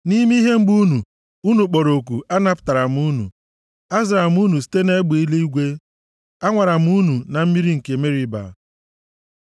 Nʼime ihe mgbu unu, unu kpọrọ oku, anapụtara m unu, azara m unu site nʼegbe eluigwe; anwara m unu na mmiri nke Meriba. Sela